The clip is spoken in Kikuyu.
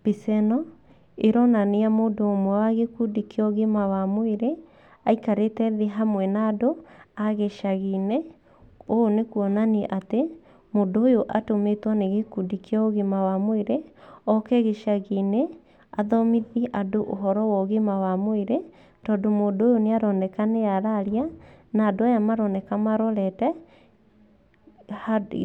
Mbica ĩno ĩronania mũndũ ũmwe wa gĩkundi kĩa ũgima wa mwĩrĩ aikarĩte thĩ hamwe na andũ a gĩcagi-inĩ. Ũũ nĩ kuonania atĩ mũndũ ũyũ atũmĩtwo nĩ gĩkundi kĩa ũgima wa mwĩrĩ, oke gĩcagi-inĩ athomithie andũ ũhoro wa ũgima wa mwĩrĩ. Tondũ mũndũ ũyũ nĩ aroneka nĩ araria na andũ aya maroneka marorete